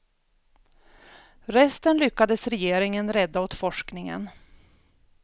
Resten lyckades regeringen rädda åt forskningen.